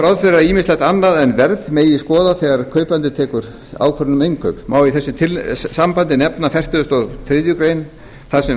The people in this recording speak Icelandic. ráð fyrir að ýmislegt annað en verð megi skoða þegar kaupandi tekur ákvörðun um innkaup má í þessu sambandi nefna fertugasta og þriðju grein þar sem